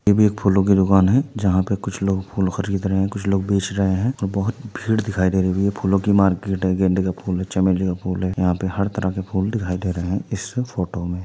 ये भी एक फूलों की दुकान है। जहां पर कुछ लोग फूल खरीद रहे हैं कुछ लोग फूल बेच रहे हैं और बोहोत भीड़ दिखाई दे रही हैं। ये फूलों की मार्केट है गेंदे का फूल हैं चमेली का फूल है। यहां पर हर तरह के फूल दिखाई दे रहे हैं इस फोटो में।